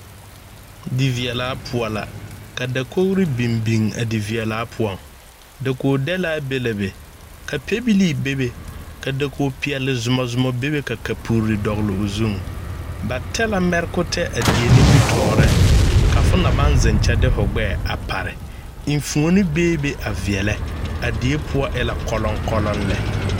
Diveɛlaa poɔ la ka dakogri biŋ biŋ a diveɛlaa poɔŋ dakogdɛlaa be la be ka pɛbilii bebe ka dakogipeɛlezomazoma bebe ka kapuri dɔgle o zuŋ ba tɛ la mɛrekotɛ a die nimitɔɔreŋ ka fo na baŋ zeŋ kye de fo gbɛɛ a pare enfuoni beebe a veɛlɛ a die poɔ ela kɔlɔŋkɔlɔŋ lɛ.